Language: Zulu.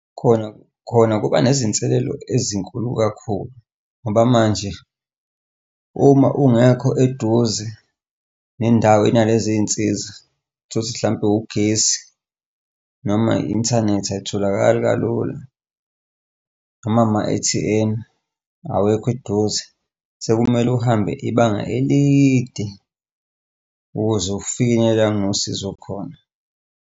Khona, khona kuba nezinselelo ezinkulu kakhulu, ngoba manje uma ungekho eduze nendawo inalezi y'nsiza uthole ukuthi hlampe ugesi noma i-inthanethi ayitholakali kalula, noma ama-A_T_M awekho eduze sekumele uhambe ibanga elide ukuze kufinyelele la kunosizo khona.